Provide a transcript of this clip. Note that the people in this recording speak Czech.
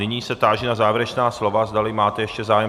Nyní se táži na závěrečná slova, zdali máte ještě zájem.